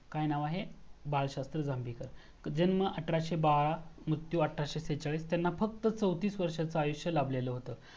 काय नाव आहे? बाळशास्त्री जांभेकर जन्म अठराशे बारा मृत्यू अठराशे त्रेचाकीस, त्यांना फक्त चौतीस वर्षाचा आयुष्य लाभलेलं होत.